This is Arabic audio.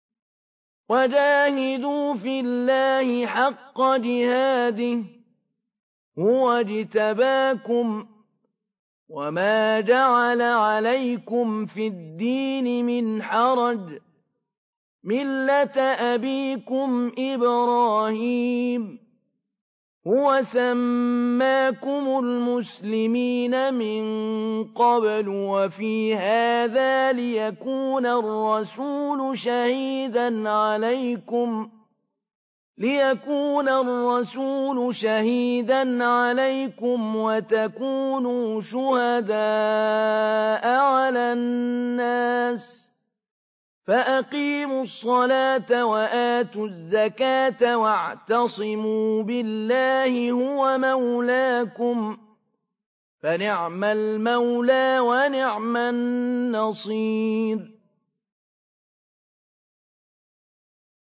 وَجَاهِدُوا فِي اللَّهِ حَقَّ جِهَادِهِ ۚ هُوَ اجْتَبَاكُمْ وَمَا جَعَلَ عَلَيْكُمْ فِي الدِّينِ مِنْ حَرَجٍ ۚ مِّلَّةَ أَبِيكُمْ إِبْرَاهِيمَ ۚ هُوَ سَمَّاكُمُ الْمُسْلِمِينَ مِن قَبْلُ وَفِي هَٰذَا لِيَكُونَ الرَّسُولُ شَهِيدًا عَلَيْكُمْ وَتَكُونُوا شُهَدَاءَ عَلَى النَّاسِ ۚ فَأَقِيمُوا الصَّلَاةَ وَآتُوا الزَّكَاةَ وَاعْتَصِمُوا بِاللَّهِ هُوَ مَوْلَاكُمْ ۖ فَنِعْمَ الْمَوْلَىٰ وَنِعْمَ النَّصِيرُ